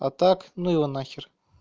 а так ну его на хер